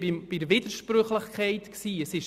Ich habe von Widersprüchlichkeit gesprochen: